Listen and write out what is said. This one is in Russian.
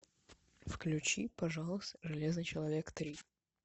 включи пожалуйста железный человек три